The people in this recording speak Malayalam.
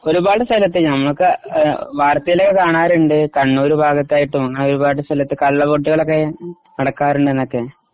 ഒരുപാട് സ്ഥലത്തു ഞമ്മക്ക് വാർത്തേൽ ഒക്കെ കാണറുണ്ട് കണ്ണൂർ ഭാഗത്തായിട്ടും ഒരുപാട് സ്ഥലത്തു കള്ളവോട്ടുകൾ ഒക്കെ നടക്കാറുണ്ടെന്നൊക്കെ